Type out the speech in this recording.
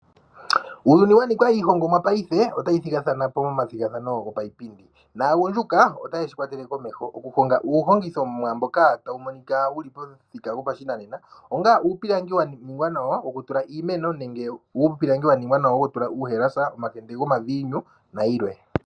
Uuyuni wa nika iihongomwa paife otayi thigathana po momathigathano gapaipindi, naagundjuka otayeshi kwatele okuhonga uuhongithomwa mboka tawu monika wuli pomuthika gwopashinanena, onga uupilangi wa ningwa nawa wokutula iimeno nenge uupilangi wa ningwa nawa wokutula uuhalasa, omakende gomaviinu nayilwe.